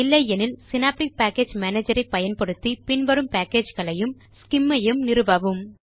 இல்லை எனில் synaptic package manager ஐ பயன்படுத்தி பின் வரும் பேக்கேஜ் களையும் ஸ்சிம் ஐயும் நிறுவவும்